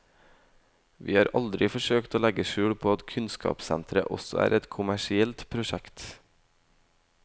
Vi har aldri forsøkt å legge skjul på at kunnskapssenteret også er et kommersielt prosjekt.